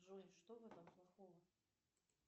джой что в этом плохого